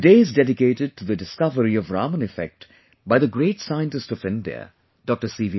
The day is dedicated to the discovery of 'Raman Effect' by the great scientist of India, Dr C